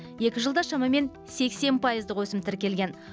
екі жылда шамамен сексен пайыздық өсім тіркелген